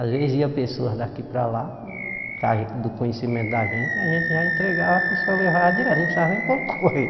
Às vezes, ia pessoas daqui para lá, que a gente do conhecimento da gente, a gente já entregava, a pessoa levava direto, não precisava nem pôr no correio.